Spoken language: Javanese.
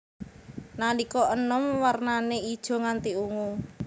Nalika enom wernané ijo nganti ungu